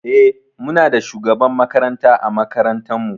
Eh Muna da shugaban makaranta ã makarantan mu